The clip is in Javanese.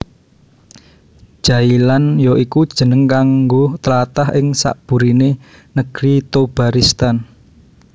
Jailan ya iku jeneng kanggo tlatah ing sakburiné Negri Thobaristan